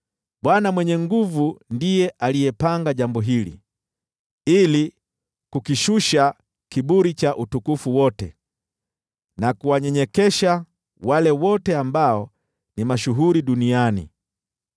Bwana Mwenye Nguvu Zote ndiye alipanga jambo hili, ili kukishusha kiburi cha utukufu wote na kuwanyenyekesha wale wote ambao ni mashuhuri duniani.